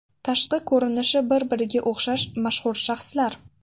Tashqi ko‘rinishi bir-biriga o‘xshash mashhur shaxslar.